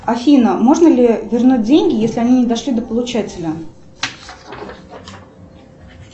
афина можно ли вернуть деньги если они не дошли до получателя